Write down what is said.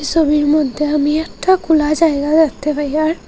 ছবির মধ্যে আমি একটা খোলা জায়গা দেখতে পাই আর--